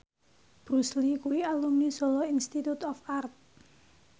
Bruce Lee kuwi alumni Solo Institute of Art